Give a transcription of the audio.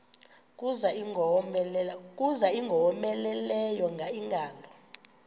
kuza ingowomeleleyo ingalo